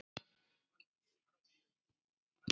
Lost getur átt við